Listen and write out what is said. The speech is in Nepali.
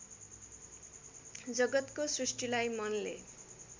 जगतको सृष्टिलाई मनले